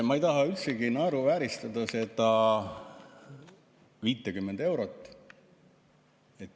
Ma ei taha üldsegi naeruvääristada seda 50 eurot.